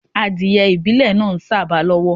Adiẹ ìbílẹ̀ náa ń sàba lọ́wọ́.